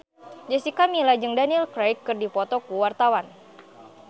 Jessica Milla jeung Daniel Craig keur dipoto ku wartawan